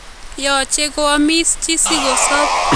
Yooche koaamis chi sikosoob